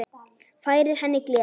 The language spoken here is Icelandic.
Færir henni gleði.